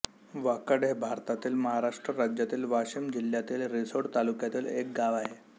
वाकड हे भारतातील महाराष्ट्र राज्यातील वाशिम जिल्ह्यातील रिसोड तालुक्यातील एक गाव आहे